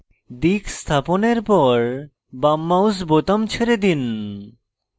দিক স্থাপনের পর বাম mouse বোতাম ছেড়ে দিন